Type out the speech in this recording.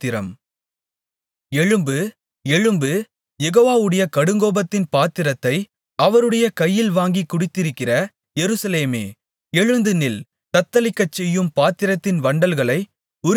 எழும்பு எழும்பு யெகோவாவுடைய கடுங்கோபத்தின் பாத்திரத்தை அவருடைய கையில் வாங்கிக் குடித்திருக்கிற எருசலேமே எழுந்துநில் தத்தளிக்கச்செய்யும் பாத்திரத்தின் வண்டல்களை உறிஞ்சிக் குடித்தாய்